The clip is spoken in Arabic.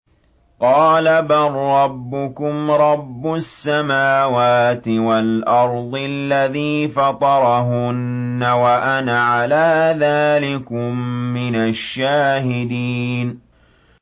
قَالَ بَل رَّبُّكُمْ رَبُّ السَّمَاوَاتِ وَالْأَرْضِ الَّذِي فَطَرَهُنَّ وَأَنَا عَلَىٰ ذَٰلِكُم مِّنَ الشَّاهِدِينَ